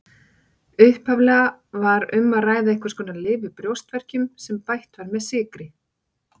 Upphaflega var um að ræða einhvers konar lyf við brjóstverkjum sem bætt var með sykri.